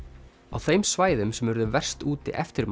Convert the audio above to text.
á þeim svæðum sem urðu verst úti eftir